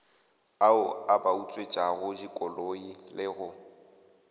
ao a bautswetšagodikoloi le go